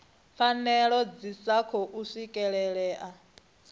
pfanelo dzi sa khou swikelelea